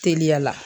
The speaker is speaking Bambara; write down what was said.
Teliya la